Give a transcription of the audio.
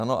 Ano?